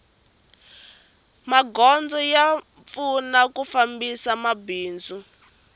magondzo ya pfuna ku fambisa mabindzu